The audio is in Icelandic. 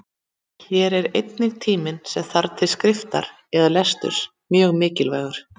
Hér er einnig tíminn sem þarf til skriftar eða lesturs mjög mikilvægur.